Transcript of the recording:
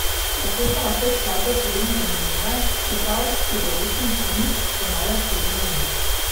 Tako so lahko skladbe še vedno zanimive, čeprav se določen riff ponavlja sedem minut.